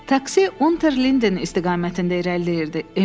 Taksi Unter Linden istiqamətində irəliləyirdi.